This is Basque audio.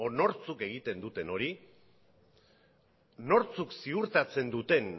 nortzuk egiten duten hori nortzuk ziurtatzen duten